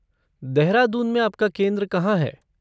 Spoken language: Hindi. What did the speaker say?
देहरादून में आपका केंद्र कहाँ है?